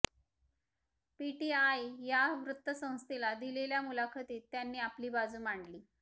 PTI या वृत्तसंस्थेला दिलेल्या मुलाखतीत त्यांनी आपली बाजू मांडली